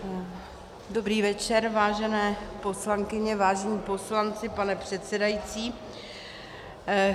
Dobrý večer, vážené poslankyně, vážení poslanci, pane předsedající.